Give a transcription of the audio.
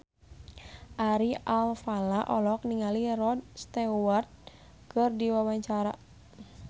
Ari Alfalah olohok ningali Rod Stewart keur diwawancara